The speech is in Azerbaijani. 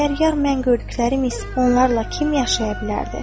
Əgər yar mən gördüklərimdirsə, onlarla kim yaşaya bilərdi?